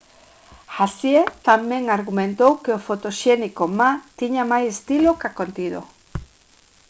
hsieh tamén argumentou que o fotoxénico ma tiña máis estilo ca contido